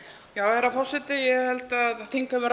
já herra forseti ég held að þingheimur